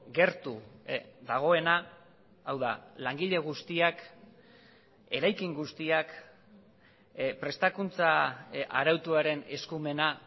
gertu dagoena hau da langile guztiak eraikin guztiak prestakuntza arautuaren eskumena